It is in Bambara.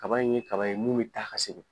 Kaba in ye kaba ye mun bɛ taa ka segin.